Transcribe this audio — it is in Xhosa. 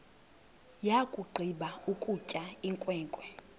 yakugqiba ukutya inkwenkwe